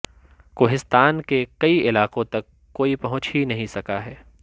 کوہستان کے کئی علاقوں تک کوئی پہنچ ہی نہیں سکا ہے